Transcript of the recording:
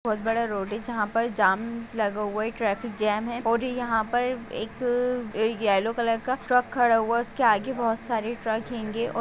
बहुत बड़ा रोड है जहां पर जाम लगा हुआ है ट्रैफिक जैम है और यहां पर एक ए येलो कलर का ट्रक खड़ा हुआ है उसके आगे बहुत सारे ट्रक हेंगे और---